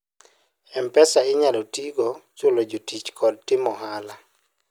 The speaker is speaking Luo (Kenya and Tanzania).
mpesa inyalo tigo chulo jotich kod timo ohala